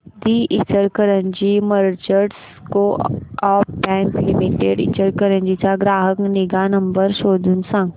दि Ichalkaranji merchants co-op bank limited Ichalkaranji चा ग्राहक निगा नंबर शोधून सांग